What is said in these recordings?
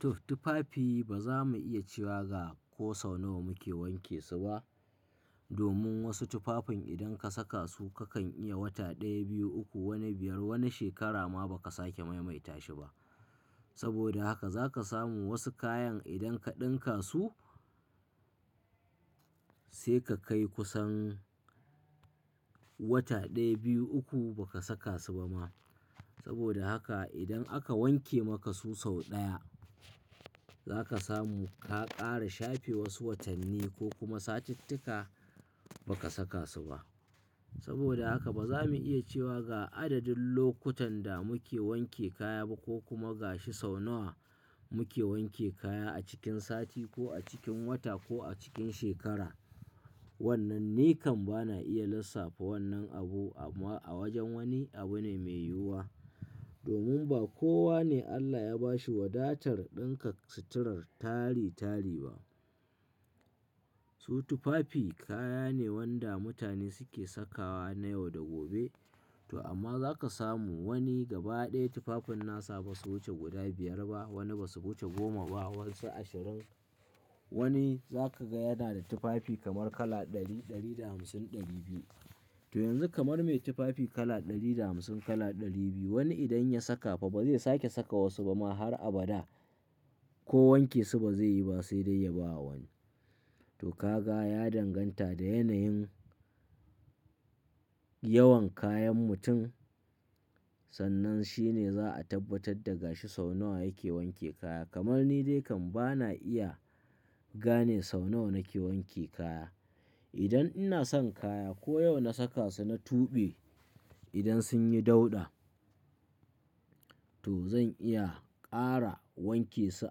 To, tufafi ba za mu iya cewa ga ko sau nawa muke wanke su ba. Domin wasu tufafin idan ka saka su kakan iya wata ɗaya, biyu, uku, wani biyar, wani shekara ma ba ka sake maimaita shi ba. Saboda haka za ka samu wasu kayan idan ka ɗinka su sai ka kai kusan wata ɗaya, biyu, uku ba ka saka su ba ma. Saboda haka idan aka wanke maka su sau ɗaya za ka samu ka ƙara shafe wasu watanni ko kuma satuttuka ba ka saka su ba. Saboda haka ba za mu iya cewa ga adadin lokutan da muke wanke kaya ba ko kuma ga shi sau nawa muke wanke kaya a cikin sati ko a cikin wata ko a cikin shekara. Wannan ni kam bana iya lissafa wannan abu a wajen wani abu ne mai yiwuwa. Domin ba kowa ne Allah ya ba shi wadatar ɗinka suturar tari tari ba. Su tufafi kaya ne wanda mutane suke sakawa na yau da gobe. To, amma za ka samu wani gaba ɗaya tufafin nasa ba su wuce guda biyar ba, wani ba su wuce goma ba, wasu ashirin. Wani za ka ga yana da tufafi kamar kala ɗari, ɗari da hamsin, ɗari biyu. To yanzu kamar mai tufafi kala ɗari da hamsin, kala ɗari biyu wani idan ya saka fa ba zai sake saka wasu ba ma har abada, ko wanke su ba zai yi ba sai dai ya ba wani. To, ka ga ya danganta da yanayin yawan kayan mutum, sannan shi ne za a tabbatar da ga shi sau nawa yake wanke kaya. Kamar ni dai kam bana iya gane sau nawa nake wanke kaya. Idan ina son kaya, ko yau na saka su na tuɓe idan sun yi dauɗa to zan iya ƙara wanke su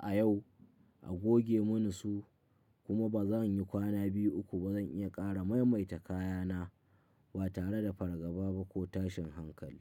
a yau a goge mini su, kuma ba zan yi kwana biyu uku ba zan iya ƙara maimaita kaya na ba tare da fargaba ba ko tashin hankali.